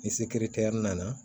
Ni sekire tɛ yɛri nana